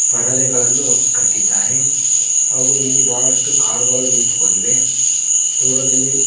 ಪರದೆಗಳನ್ನು ಕಟ್ಟಿದ್ದಾರೆ ಹಾಗೂ ಇಲ್ಲಿ ಬಹಳಷ್ಟು ಕಾರುಗಳು ನಿಂತುಕೊಂಡಿವೆ ದೂರದಲ್ಲಿ--